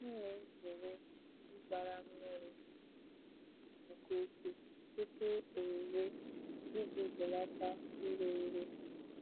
M na-ezere ịgbara mmiri nke ukwuu tupu owuwe iji belata ire ere.